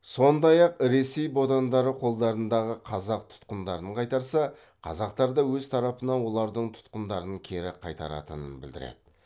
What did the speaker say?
сондай ақ ресей бодандары қолдарындағы қазақ тұтқындарын қайтарса қазақтар да өз тарапынан олардың тұтқындарын кері қайтаратынын білдіреді